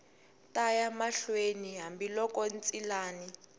ta ya mahlweni hambiloko ntshilani